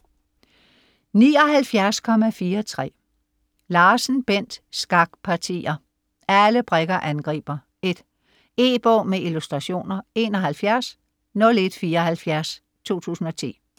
79.43 Larsen, Bent: Skakpartier!: Alle brikker angriber: 1 E-bog med illustrationer 710174 2010.